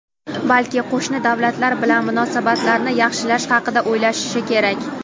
balki qo‘shni davlatlar bilan munosabatlarni yaxshilash haqida o‘ylashi kerak.